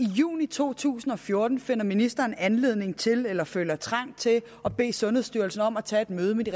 juni to tusind og fjorten finder ministeren anledning til eller føler trang til at bede sundhedsstyrelsen om at tage et møde med de